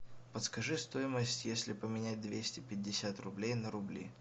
подскажи стоимость если поменять двести пятьдесят рублей на рубли